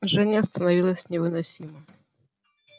жжение становилось невыносимо